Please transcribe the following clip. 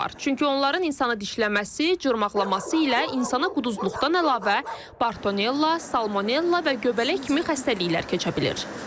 Çünki onların insanı dişləməsi, cırmaqlaması ilə insana quduzluqdan əlavə Bartonella, Salmonella və göbələk kimi xəstəliklər keçə bilir.